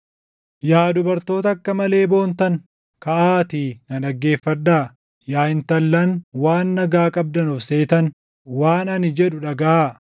Yaa dubartoota akka malee boontan kaʼaatii na dhaggeeffadhaa; yaa intallan waan nagaa qabdan of seetan waan ani jedhu dhagaʼaa!